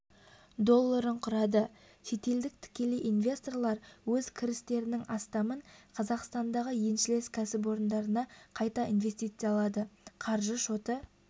долларын құрады шетелдік тікелей инвесторлар өз кірістерінің астамын қазақстандағы еншілес кәсіпорындарына қайта инвестициялады қаржы шоты